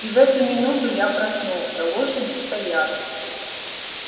и в эту минуту я проснулся лошади стояли